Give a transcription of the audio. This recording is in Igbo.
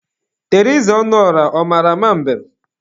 Teriza Ọnụọrah, ọ mara ama mbem?